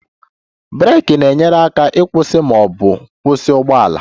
Breeki na-enyere aka ịkwụsị ma ọ bụ kwụsị ụgbọ ala